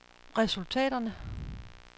resultaterne